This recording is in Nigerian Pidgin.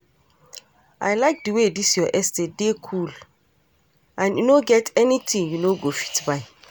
I like the way dis your estate dey cool and e no get anything you no go fit buy.